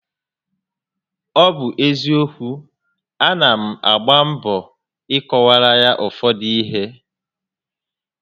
Ọ bụ eziokwu, a na m agba mbọ I kọwaara ya ụfọdụ ihé